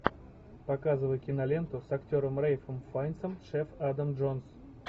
показывай киноленту с актером рэйфом файнсом шеф адам джонс